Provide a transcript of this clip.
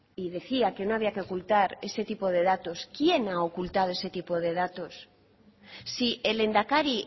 y decía que no había que ocultar ese tipo de datos quién ha ocultado ese tipo de datos si el lehendakari